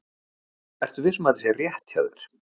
Ertu viss um að þetta sé rétt hjá þér?